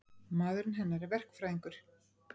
Maðurinn hennar er verkfræðingur.